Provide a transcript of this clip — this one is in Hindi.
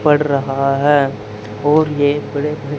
पड़ रहा है और ये बड़े बड़े--